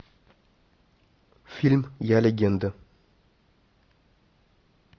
фильм я легенда